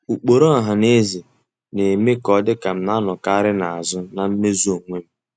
Ụkpụrụ ọhanaeze na-eme ka ọ dị ka m na-anọkarị n'azụ na mmezu onwe m.